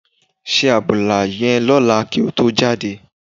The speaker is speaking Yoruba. Se àbùlà yẹn lọ́la kí o tó jáde.